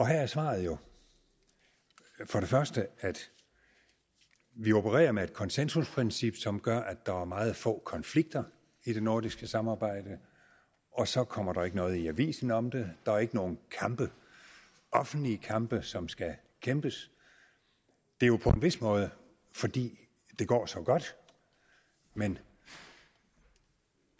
her er svaret jo for det første at vi opererer med et konsensusprincip som gør at der er meget få konflikter i det nordiske samarbejde og så kommer der ikke noget i avisen om det der er ikke nogen offentlige kampe som skal kæmpes det er jo på en vis måde fordi det går så godt men